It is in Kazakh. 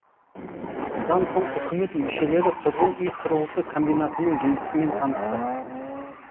бұдан соң үкімет мүшелері тұрғын үй құрылысы комбинатының жұмысымен танысты